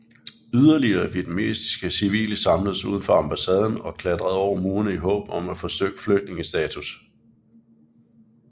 Yderligere vietnamesiske civile samledes uden for ambassaden og klatrede over murene i håb om at få flygtningestatus